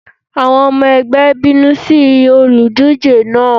Àwọn ọmọ ẹgbẹ́ ń bínú sí olùdíje náà.